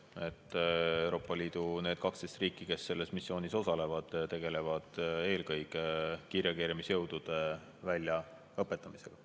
Need 12 Euroopa Liidu riiki, kes selles missioonis osalevad, tegelevad eelkõige kiirreageerimisjõudude väljaõpetamisega.